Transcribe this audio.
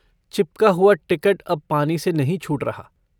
चिपका हुआ टिकट अब पानी से नहीं छूट रहा।